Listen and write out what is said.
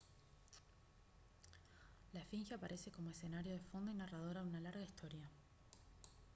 la esfinge aparece como escenario de fondo y narradora de una larga historia